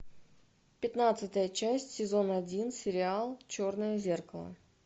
пятнадцатая часть сезон один сериал черное зеркало